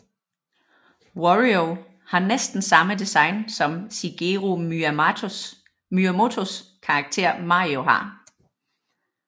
Wario har næsten samme design som Shigeru Miyamotos karakter Mario har